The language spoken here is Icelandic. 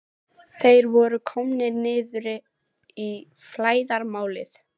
Þeir voru komnir niður í flæðarmálið.